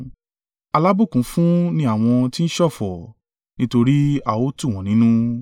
Alábùkún fún ni àwọn tí ń ṣọ̀fọ̀, nítorí a ó tù wọ́n nínú.